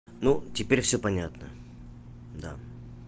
ну теперь всё понятно да